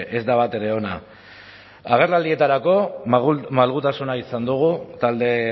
ez da batere ona agerraldietarako malgutasuna izan dugu talde